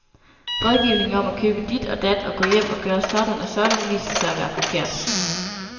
Rådgivning om at købe dit og dat og gå hjem og gøre sådan og sådan viser sig at være forkert.